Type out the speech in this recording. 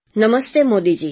Namaste Modiji